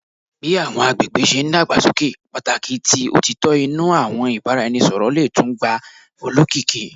Bi awọn agbegbe ṣe n dagbasoke, pataki ti otitọ inu awọn ibaraẹnisọrọ le tun gba olokiki